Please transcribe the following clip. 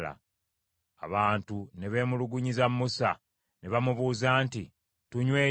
Abantu ne beemulugunyiza Musa, ne bamubuuza nti, “Tunywe ki?”